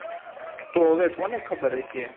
તો હવે કોને ખબર હશે